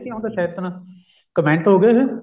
ਇਹ ਕੀ ਹੁੰਦਾ ਸ਼ੇਨਤਨਾ comment ਹੋਗੇ ਇਹ